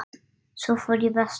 Svo fór ég vestur.